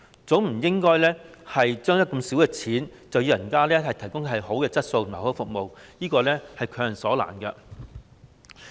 總不能用這麼少錢，卻要求別人提供良好質素的服務，這是強人所難。